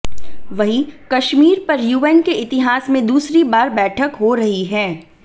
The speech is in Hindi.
वहीं कश्मीर पर यूएन के इतिहास में दूसरी बार बैठक हो रही है